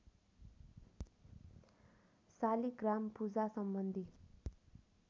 शालिग्राम पूजा सम्बन्धी